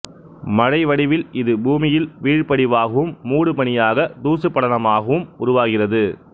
மழை வடிவில் இது பூமியில் வீழ்படிவாகவும் மூடுபனியாக தூசுபடலமாகவும் உருவாகிறது